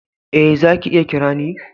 Eh, za ka iya kira ni.